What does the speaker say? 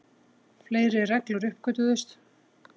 Fleiri reglur uppgötvuðust.